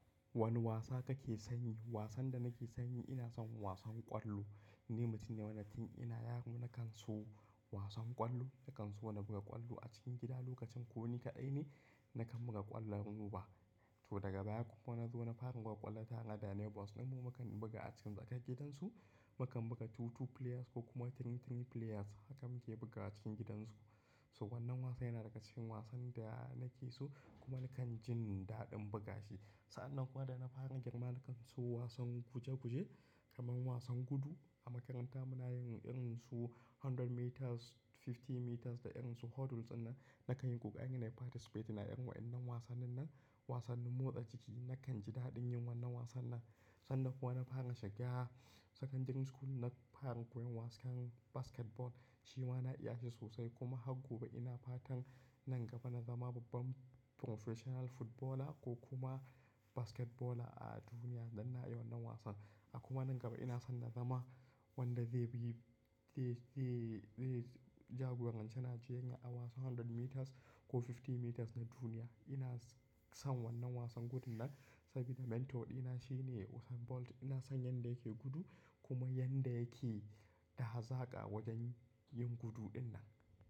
Wane wasa kake sanyi? Wasan da nake sanyi ina son wasan ƙwallo. Ni mutum ne wanda tin ina yaro na kan so wasan ƙwallo, na kan so na buga ƙwallo a cikin gida. Lokacin ko ni kaɗai ne na kan buga ƙwallon roba. To daga baya kuma nazo na fara buga ƙwallo tare da neighbors ɗinmu. Mu mukan buga a cikin tsakar gidan su, mu kan buga two two players ko kuma three three players. Hakan mun ke buga a cikin gidan su. So wannan wasan yana daga cikin wasan da nake so kuma na kan jin daɗin buga shi. Sa'an nan kuwa da na fara girma na kan so wasan guje guje, kamar wasan gudu. A makaranta muna yin irin su hundred meters, fifty meters da irin su hurdles ɗin nan. Na kan yi ƙoƙari, nayi participate a irin waɗannan wasannin nan. Wasannin motsa jiki na kan ji daɗin yin wannan wasan nan. Sannan kuwa na fara shiga secondary school, na fara koyan wasan basketball. Shi ma na iya shi sosai kuma har gobe ina fatan nan gaba na zama babban professional footballer ko kuma basketballer a duniya idan na yi wannan wasan. A kuma nan gaba ina son na zama wanda zai bi, zai, zai, zai jagoranci Najeriya a wasan hundred meters ko fifty meters na duniya. Ina son wannan wasan gudun nan sabida mentor ɗina shine Usain Bolt. Ina son yanda yake gudu kuma yanda yake hazaka wajen yin gudu ɗin nan.